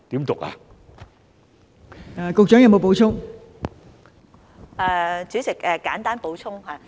代理主席，我簡單補充。